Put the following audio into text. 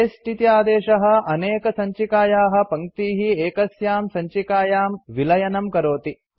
paste इति आदेशः अनेकसञ्चिकायाः पङ्क्तीः एकस्यां सञ्चिकायां विलयनं करोति